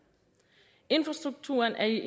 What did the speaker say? infrastrukturen er i